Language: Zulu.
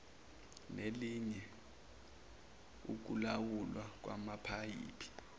nelinye ukulawulwa kwamapayipi